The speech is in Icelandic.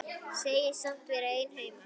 Segist samt vera einn heima.